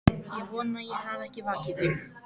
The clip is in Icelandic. Ég vona ég hafi ekki vakið þig.